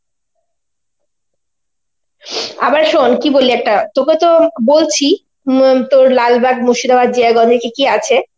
আবার শোন কি বলি একটা, তোকে তো বলছি হম তোর লালবাগ মুর্শিদাবাদ জায়গায় ওখানে কি কি আছে